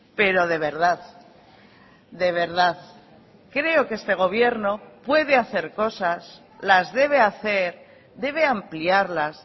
pero de verdad de verdad creo que este gobierno puede hacer cosas las debe hacer debe ampliarlas